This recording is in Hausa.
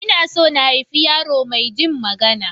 Ina so na haifi yaro maijin magana.